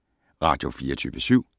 Radio24syv